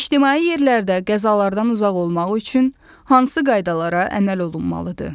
İctimai yerlərdə qəzalardan uzaq olmaq üçün hansı qaydalara əməl olunmalıdır?